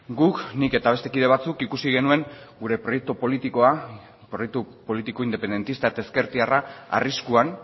guk nik eta beste kide batzuk ikusi genuen gure proiektu politikoa proiektu politiko independentista eta ezkertiarra arriskuan